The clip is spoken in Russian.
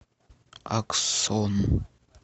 аксон